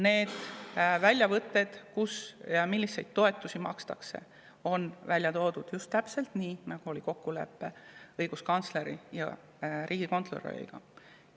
Need väljavõtted, kus ja milliseid toetusi makstakse, on välja toodud just täpselt nii, nagu oli kokkulepe õiguskantsleri ja riigikontrolöriga.